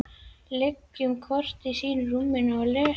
Liggjum hvor í sínu rúmi og lesum.